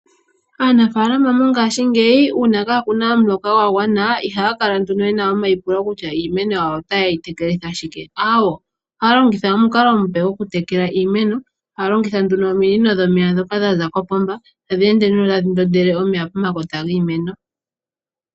Aafaalama mongaashingeyi uuna kakuna omuloka gwagwana ihaa nduno yena omaipulo kutya iimeno yawo otayeyi tekelitha shike, awoo ohaalongitha omukalo omupe gokutekela iimeno haalongitha nduno ominino dhomeya dhoka dhaza kopomba tadheende tadhi ndondele omeya pomakota giimeno.